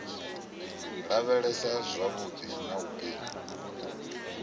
lavhelesa zwavhudi na u pima